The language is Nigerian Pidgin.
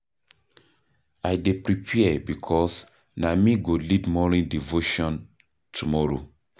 I dey prepare because na me go lead morning devotion tomorrow.